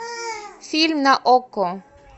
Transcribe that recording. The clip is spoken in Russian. фильм на окко